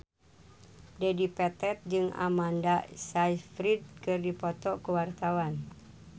Dedi Petet jeung Amanda Sayfried keur dipoto ku wartawan